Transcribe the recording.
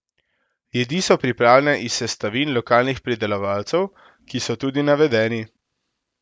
Jedi so pripravljene iz sestavin lokalnih pridelovalcev, ki so tudi navedeni.